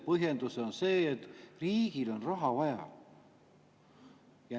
Põhjendus on see, et riigil on raha vaja.